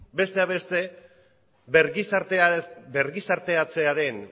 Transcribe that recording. bergizarteatzearen